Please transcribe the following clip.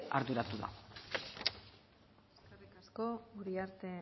arduratu da eskerrik asko uriarte